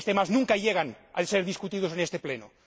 es que estos temas nunca llegan a ser debatidos en este Pleno?